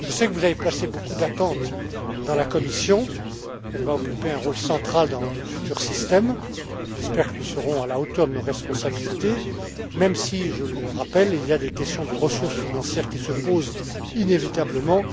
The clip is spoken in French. Vous avez placé beaucoup d'attentes dans la Commission. Elle va occuper un rôle central dans le futur système. J'espère que nous serons à la hauteur de nos responsabilités, même si, je le rappelle, des questions de ressources financières se posent inévitablement.